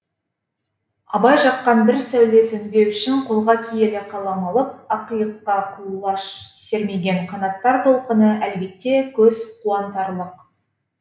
абай жаққан бір сәуле сөнбеу үшін қолға киелі қалам алып ақиыққа құлаш сермеген қанаттар толқыны әлбетте көз қуантарлық